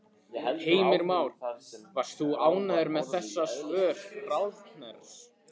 Heimir Már: Varst þú ánægð með þessi svör ráðherrans?